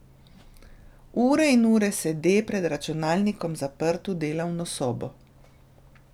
Ure in ure sede pred računalnikom zaprt v delovno sobo.